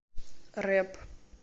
рэп